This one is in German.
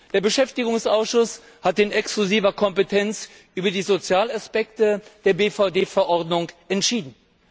Der Beschäftigungsausschuss hat in exklusiver Kompetenz über die Sozialaspekte der BVD Verordnung entschieden.